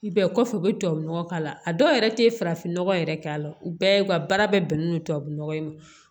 Bɛɛ kɔfɛ u bɛ tubabu nɔgɔ k'a la a dɔw yɛrɛ tɛ farafinnɔgɔ yɛrɛ k'a la u bɛɛ ka baara bɛ bɛnnen don tubabu nɔgɔ in ma